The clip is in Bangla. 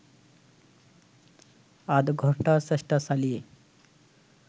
আধঘণ্টা চেষ্টা চালিয়ে